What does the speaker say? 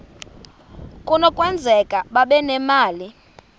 kunokwenzeka babe nemali